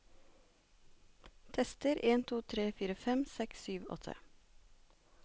Tester en to tre fire fem seks sju åtte